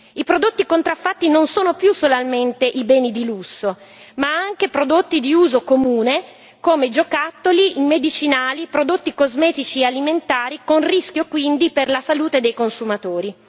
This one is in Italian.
I prodotti contraffatti non sono più solamente i beni di lusso, ma anche prodotti di uso comune come giocattoli, medicinali, prodotti cosmetici e alimentari, con rischio quindi per la salute dei consumatori.